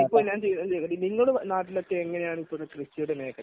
അപ്പൊ ഞാൻ ഒന്ന് ചോദിക്കട്ടെ. നിങ്ങളുടെ നാട്ടിലൊക്കെ എങ്ങനെയാണ് നിൽക്കുന്നത് കൃഷിയുടെ മേഖല?